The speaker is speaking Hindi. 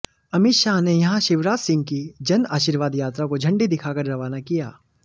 अमित शाह ने यहां शिवराज सिंह की जन आशीर्वाद यात्रा को झंडी दिखाकर रवाना किया